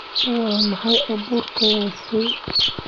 Waa maxay baabuurkaasi?